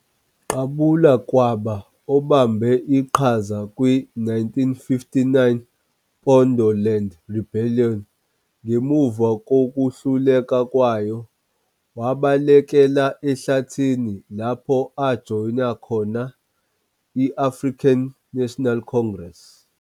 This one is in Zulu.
Qabula kwaba obambe iqhaza kwi-1959 Pondoland Rebellion. Ngemuva kokuhluleka kwayo, wabalekela ehlathini, lapho ajoyina khona i- African National Congress.